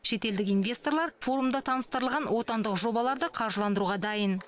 шетелдік инвесторлар форумда таныстырылған отандық жобаларды қаржыландыруға дайын